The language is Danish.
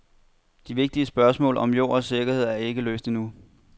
De vigtige spørgsmål om jord og sikkerhed er ikke løst endnu.